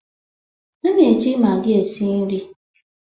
A na-eji magi esi nri.